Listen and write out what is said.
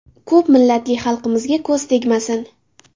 Ko‘p millatli xalqimizga ko‘z tegmasin.